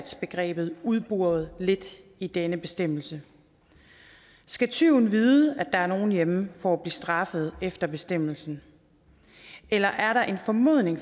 begrebet udboret lidt i denne bestemmelse skal tyven vide at der er nogle hjemme for at straffet efter bestemmelsen eller er der en formodning